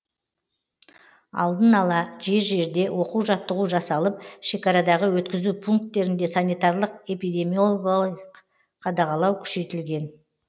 алдын ала жер жерде оқу жаттығу жасалып шекарадағы өткізу пункттерінде санитарлық эпидемиологиялық қадағалау күшейтілген